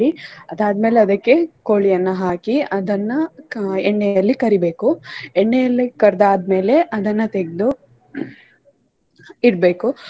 ಅದಾದ್ಮೇಲೆ ಅದಕ್ಕೆ ಕೋಳಿಯನ್ನ ಹಾಕಿ ಅದನ್ನ ಕ~ ಎಣ್ಣೆಯಲ್ಲಿ ಕರಿಬೇಕು. ಎಣ್ಣೆಯಲ್ಲಿ ಕರ್ದಾದ್ಮೇಲೆ ಅದನ್ನ ತೆಗ್ದು ಇಡ್ಬೇಕು.